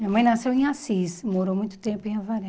Minha mãe nasceu em Assis, morou muito tempo em Avaré.